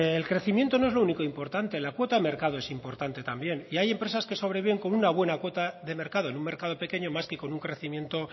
el crecimiento no es lo único importante la cuota de mercado es importante también y hay empresas que sobreviven con una buena cuota de mercado en un mercado pequeño más que con un crecimiento